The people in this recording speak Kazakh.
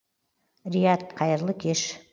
рият қайырлы кеш